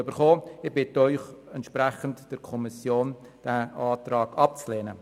Ich bitte Sie, entsprechend dem Entscheid der Kommission diesen Antrag abzulehnen.